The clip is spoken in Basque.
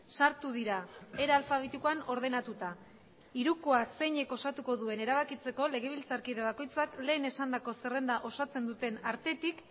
sartu dira era alfabetikoan ordenatuta hirukoaz zeinek osatuko duen erabakitzeko legebiltzarkide bakoitzak lehen esandako zerrenda osatzen duten artetik